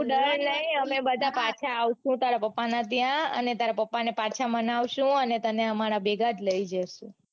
તું ડર નઈ અમે બધા પાછા આવસુ તારા પાપના ત્યાં અને તારા પાપને પાછા માનવસુ અને તને અમારા ભેગા જ લઇ જઈસુ.